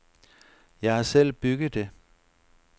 Jeg har selv bygget det.